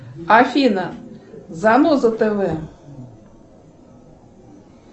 афина заноза тв